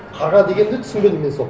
қарға дегенді түсінбедім мен сол